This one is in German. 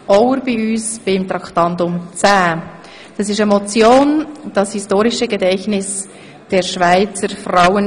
Ich begrüsse dazu den Staatsschreiber, Christoph Auer.